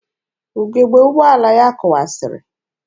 Ugebe ụgbọala ya kụwasịrị.